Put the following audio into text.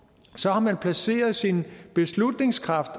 så har man placeret sin beslutningskraft